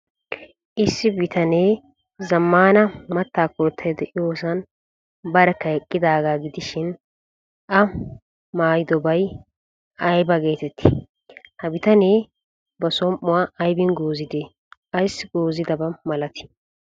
Issi bitanee zammaana maattaa koottay de'iyoosan barkka eqqidaagaa gidishin, l maayidobay ayba geeteettii? Ha bitanee ba som''uwaa aybin goozidee? ayssi goozidabaa malatii?